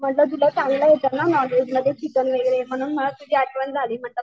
म्हंटल तुला चांगलं येत ना नॉनव्हेज चिकन वगैरे म्हणून मला तुझी आठवण झाली.